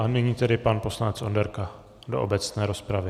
A nyní tedy pan poslanec Onderka do obecné rozpravy.